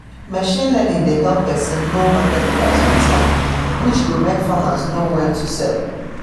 machine learning dey help person know market price on time which go make farmers know when to sell